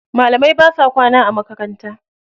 Malamai basa kwana a makaranta.